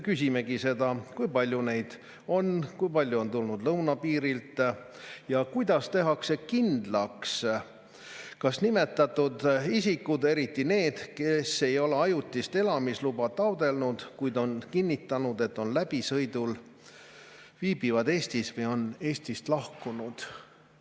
Küsimegi: kui palju neid on, kui palju on tulnud lõunapiirilt, kuidas tehakse kindlaks, kas nimetatud isikud, eriti need, kes ei ole ajutist elamisluba taotlenud, kuid on kinnitanud, et on läbisõidul, viibivad Eestis või on Eestist lahkunud?